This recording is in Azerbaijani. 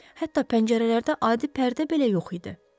Hətta pəncərələrdə adi pərdə də belə yox idi.